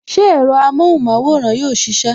Ṣé ẹ̀rọ amóhùn maworan yóò sisẹ?